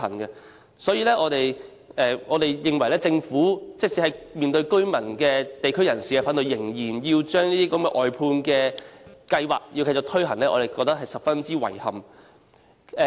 因此，對於政府面對居民和地區人士反對下仍然繼續推行外判計劃，我們感到十分遺憾。